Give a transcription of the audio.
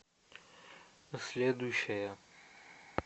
следующая